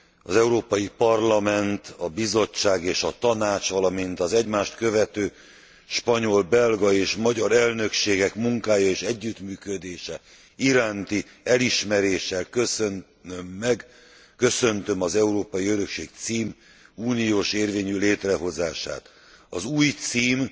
Az Európai Parlament, a Bizottság és a Tanács, valamint az egymást követő spanyol, belga és magyar elnökségek munkája és együttműködése iránti elismeréssel köszönöm meg, köszöntöm az Európai Örökség cím uniós érvényű létrehozását. Az új cím